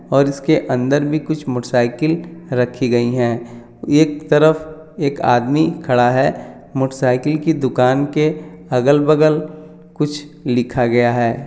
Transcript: और इसके अदर भी कुछ मोटर सायकल रखी गई है एक तरफ एक आदमी खडा हैमोटर सायकल के दुकान के अगल बगल कुछ लिखा गया है।